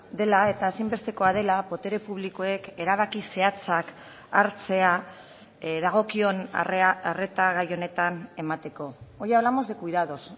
dela eta ezinbestekoa dela botere publikoek erabaki zehatzak hartzea dagokion arreta gai honetan emateko hoy hablamos de cuidados